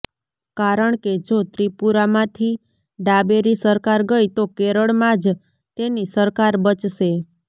કારણ કે જો ત્રિપુરામાંથી ડાબેરી સરકાર ગઈ તો કેરળમાં જ તેની સરકાર બચશે